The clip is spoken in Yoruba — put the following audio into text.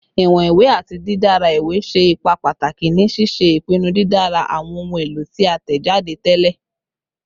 Iwọn iwe ati didara iwe ṣe ipa pataki ni ṣiṣe ipinnu didara awọn ohun elo ti a tẹjade tẹlẹ